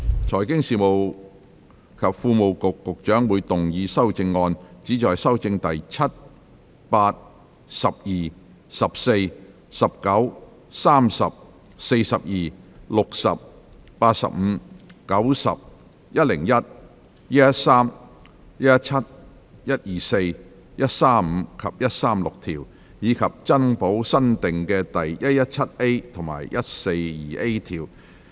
財經事務及庫務局局長會動議修正案，旨在修正第7、8、12、14、19、30、42、60、85、90、101、113、117、124、135及136條，以及增補新訂的第 117A 及 142A 條。